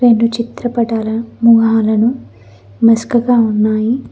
రెండు చిత్రపటాలను మొహాలను మస్కగా ఉన్నాయి.